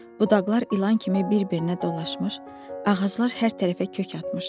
Budaqlar ilan kimi bir-birinə dolaşmış, ağaclar hər tərəfə kök atmışdı.